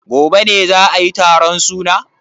Gobe ne za ayi taron suna?